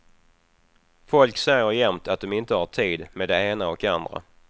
Folk säger jämt att de inte har tid med det ena och andra.